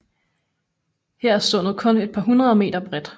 Her er sundet kun et par hundrede meter bredt